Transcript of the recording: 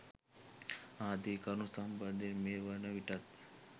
ආදී කරුණු සම්බන්ධයෙන් මේ වන විටත්